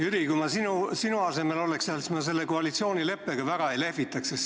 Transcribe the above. Jüri, kui ma sinu asemel oleksin, siis ma selle koalitsioonileppega väga ei lehvitaks.